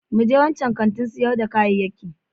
Mu je wancan kantin sayar da kayayyakin.